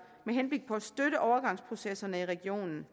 med henblik på at støtte overgangsprocesserne i regionen